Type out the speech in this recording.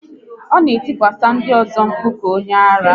Ọ na etikwasa ndị ọzọ mkpu ka onye ara